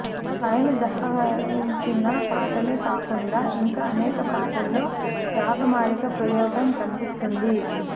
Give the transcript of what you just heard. పైనుదహరించిన పాటలే కాకుండా ఇంకా అనేక పాటల్లో రాగమాలిక ప్రయోగం కనిపిస్తుంది